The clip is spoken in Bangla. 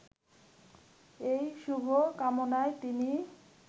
এ শুভ কামনায় তিনি